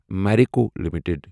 Marico limited